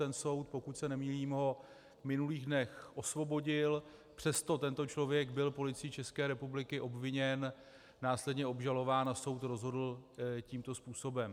Ten soud, pokud se nemýlím, ho v minulých dnech osvobodil, přesto tento člověk byl Policií České republiky obviněn, následně obžalován a soud rozhodl tímto způsobem.